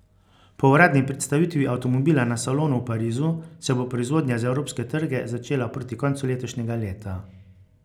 Po uradni predstavitvi avtomobila na salonu v Parizu se bo proizvodnja za evropske trge začela proti koncu letošnjega leta.